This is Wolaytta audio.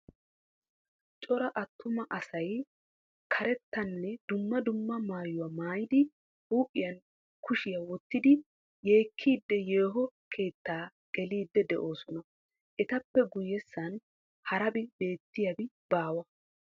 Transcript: Cora atuma asay karettanne dumma dumma mayuwaa mayyidi huuphphiyan kushiyaa wottidi yeekkiidi yooho keettaa geliidi de'oosona. Etappe guyessan harabi beettiyabi baawa.